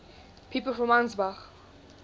people from ansbach